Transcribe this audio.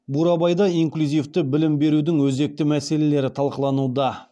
бурабайда инклюзивті білім берудің өзекті мәселелері талқылануда